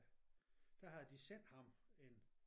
Der havde de sendt ham en